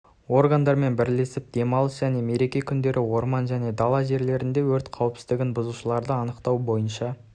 органдармен бірлесіп демалыс және мереке күндері орман және дала жерлерінде өрт қауіпсіздігін бұзушыларды анықтау бойынша